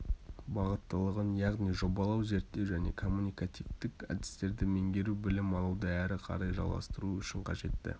бағыттылығын яғни жобалау зерттеу және коммуникативтік әдістерді меңгеру білім алуды әрі қарай жалғастыруы үшін қажетті